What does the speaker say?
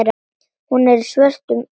Hún er í svörtum sokkum.